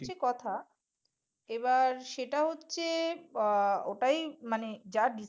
কথা এবার সেটা হচ্ছে আহ ওটাই মানে যা